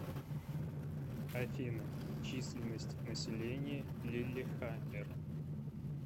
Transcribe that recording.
афина численность населения лиллехаммер